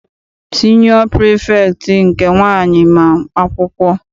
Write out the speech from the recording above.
Siniọ pirifektị nke nwaanyị ma akwụkwọ.